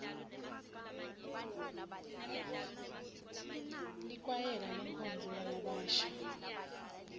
likwayela lenkonzo yalabasha